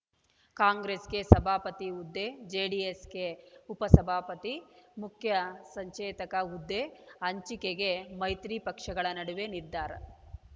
ಕಾಂಗ್ರೆಸ್‌ಗೆ ಸಭಾಪತಿ ಹುದ್ದೆ ಜೆಡಿಎಸ್‌ಗೆ ಉಪಸಭಾಪತಿ ಮುಖ್ಯ ಸಚೇತಕ ಹುದ್ದೆ ಹಂಚಿಕೆಗೆ ಮೈತ್ರಿ ಪಕ್ಷಗಳ ನಡುವೆ ನಿರ್ಧಾರ